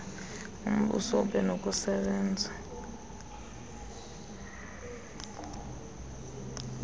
umbuso ube nokusebenza